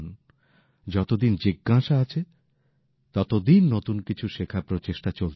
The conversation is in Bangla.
যতদিন জিজ্ঞাসা আছে ততদিন নতুন কিছু শেখার প্রচেষ্টা চলতে থাকে